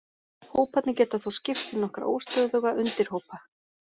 Hóparnir geta þó skipst í nokkra óstöðuga undirhópa.